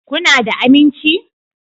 Kuna da aminci?